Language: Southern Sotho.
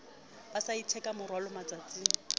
ba sa itheka morwalo matsatsing